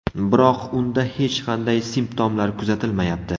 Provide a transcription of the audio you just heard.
Biroq unda hech qanday simptomlar kuzatilmayapti.